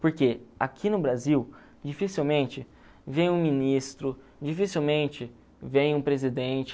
Porque aqui no Brasil, dificilmente vem um ministro, dificilmente vem um presidente.